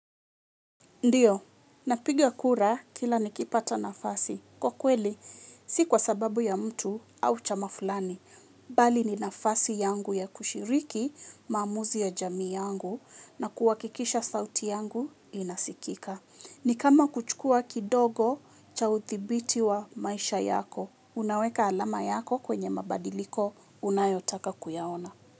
Ndiyo, napigia kura kila nikipata nafasi. Kwa kweli, si kwa sababu ya mtu au chama fulani. Bali ni nafasi yangu ya kushiriki maamuzi ya jamii yangu na kuhakikisha sauti yangu inasikika. Ni kama kuchukua kidogo cha uthibiti wa maisha yako. Unaweka alama yako kwenye mabadiliko unayotaka kuyaona.